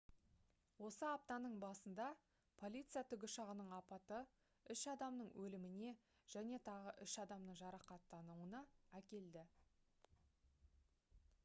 осы аптаның басында полиция тікұшағының апаты үш адамның өліміне және тағы үш адамның жарақаттануына әкелді